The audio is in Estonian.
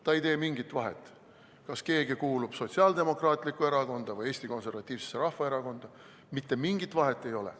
See ei tee mingit vahet, kas keegi kuulub Sotsiaaldemokraatlikku Erakonda või Eesti Konservatiivsesse Rahvaerakonda – mitte mingit vahet ei ole.